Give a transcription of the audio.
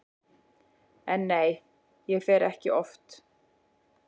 En nei, ég fer ekki oft.